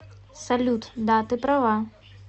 салют да ты права